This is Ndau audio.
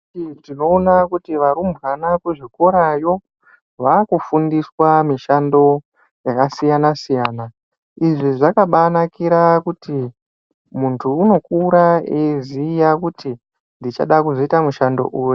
Tinoona kuti varumbwana kuzvikorayo, vakufundiswa mishando yakasiyana-siyana. Izvi zvakabanakira kuti muntu unokura eyiziye kuti ndichada kuzoita mushando uyu.